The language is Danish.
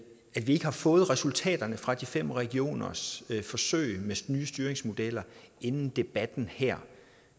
vi ikke har fået resultaterne fra de fem regioners forsøg med nye styringsmodeller inden debatten her